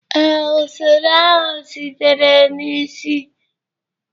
ee, usoro ahụ sitere na isi.